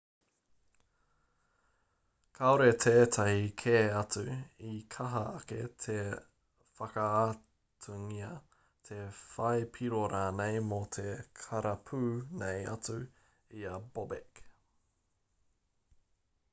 kāore tētahi kē atu i kaha ake te whakaaatungia te whai piro rānei mō te karapu nei atu i a bobek